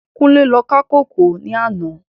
Kunle lò ká kókòó làná